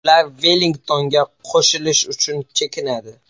Ular Vellingtonga qo‘shilish uchun chekinadi.